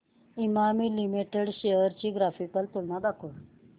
Emami limited shares ची graphical तुलना दाखव